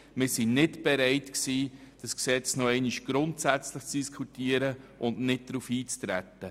Wir waren nicht bereit, dieses Gesetz noch einmal grundsätzlich zu diskutieren und nicht darauf einzutreten.